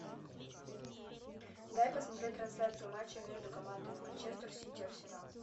дай посмотреть трансляцию матча между командами манчестер сити арсенал